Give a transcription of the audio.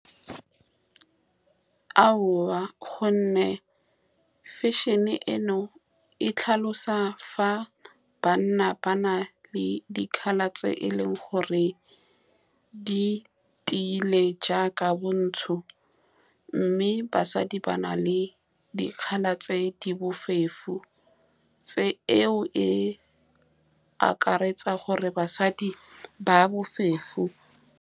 Aowa, ka gonne fashion-e eno e tlhalosa fa banna ba na le di-colour tse e leng gore di tiile, jaaka bontsho, mme basadi ba na le di-colour tse di . Tse, eo e akaretsa gore basadi ba .